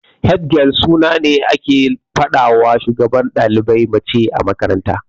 Head girl suna ne da ake fadawa shugabar dalibai mace a makaranta.